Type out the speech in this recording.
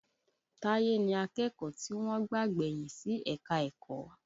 Táyé ni akẹ́kọ̀ọ́ tí wọ́n gbà gbẹ̀yìn sí ẹ̀ka-ẹ̀kọ́